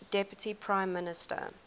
deputy prime minister